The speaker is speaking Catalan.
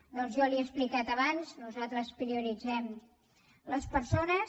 doncs jo li ho he explicat abans nosaltres prioritzem les persones